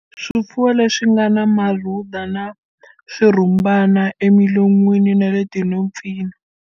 Swifuwo leswi nga na marhuda swi na swirhumbana emilon'wini na le tinhompfini.